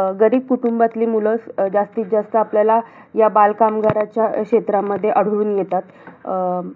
अं गरीब कुटुंबातली मुलं, अं जास्तीती जास्त आपल्याला या बालकामगारच्या क्षेत्रामध्ये आढळून येतात. अं